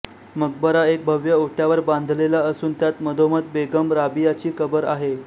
मकबरा एक भव्य ओट्यावर बांधलेला असून त्यात मधोमध बेगम राबियाची कबर आहे